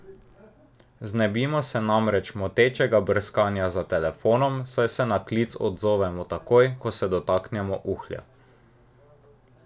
Znebimo se namreč motečega brskanja za telefonom, saj se na klic odzovemo takoj, ko se dotaknemo uhlja.